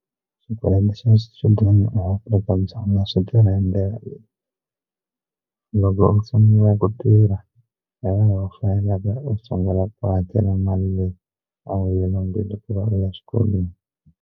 Swikweleti swa swichudeni laha Afrika-Dzonga swi tlula loko u sungula ku tirha hi u sungula ku hakela mali leyi a wu yi lombile ku va u ya xikolweni.